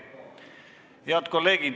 Head kolleegid!